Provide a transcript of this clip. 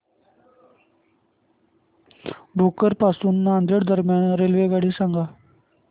भोकर पासून नांदेड दरम्यान रेल्वेगाडी सांगा